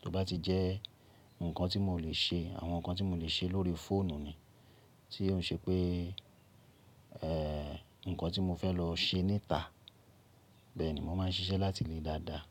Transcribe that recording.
Tí ó bá ti jẹ́ nǹkan tí mò lè ṣe, àwọn nǹkan tí mò lè ṣe lórí fóònù ni, tí ó ń ṣe pé, ẹ́, nǹkan tí mo fẹ́ lọ ṣe níta, bẹ́ẹ̀ ni mo máà ń ṣiṣẹ́ láti ilé dáadáa.